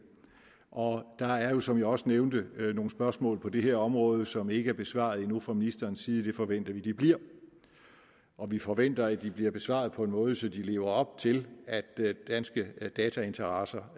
og der er jo som jeg også nævnte nogle spørgsmål på det her område som ikke er besvaret endnu fra ministerens side det forventer vi at de bliver og vi forventer at de bliver besvaret på en måde så de lever op til at danske datainteresser